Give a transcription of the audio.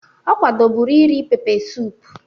Ọ kwadoburu iri pepe suup